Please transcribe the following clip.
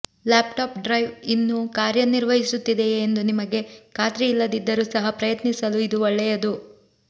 laptop drive ಇನ್ನೂ ಕಾರ್ಯನಿರ್ವಹಿಸುತ್ತಿದೆಯೇ ಎಂದು ನಿಮಗೆ ಖಾತ್ರಿ ಇಲ್ಲದಿದ್ದರೂ ಸಹ ಪ್ರಯತ್ನಿಸಲು ಇದು ಒಳ್ಳೆಯದು